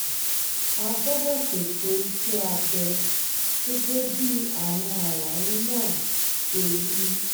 a gbọ́dọ̀ ṣètò iṣẹ́ abẹ gẹ́gẹ́ bí àwọn àlàyé náà ṣe wí